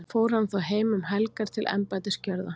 fór hann þá heim um helgar til embættisgjörða